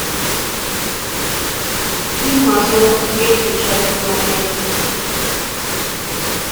фильм мажор третья часть смотреть